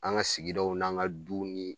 An ga sigidaw n'an ka duw ni